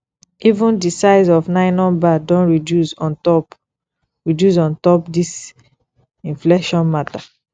even di size of nylon bag don reduce on top reduce on top dis inflation mata